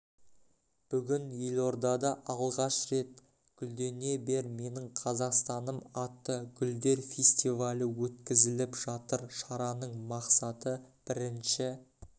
бүгін елордада алғаш рет гүлдене бер менің қазақстаным атты гүлдер фестивалі өткізіліп жатыр шараның мақсаты бірінші